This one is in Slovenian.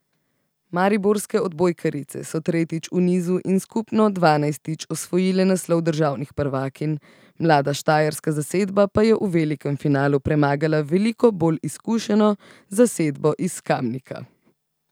Mariborske odbojkarice so tretjič v nizu in skupno dvanajstič osvojile naslov državnih prvakinj, mlada štajerska zasedba pa je v velikem finalu premagala veliko bolj izkušeno zasedbo iz Kamnika.